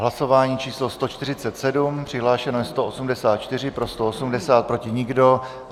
Hlasování číslo 147, přihlášeno je 184, pro 180, proti nikdo.